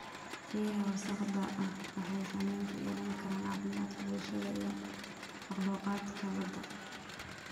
Biyaha wasakhda ah waxay saameyn ku yeelan karaan caafimaadka bulshada iyo makhluuqaadka badda.